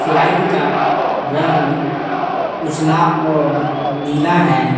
Flight का रंग उजला और नीला है।